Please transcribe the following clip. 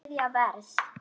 Þriðja vers.